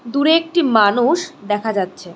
দূরে একটি মানুষ দেখা যাচ্ছে।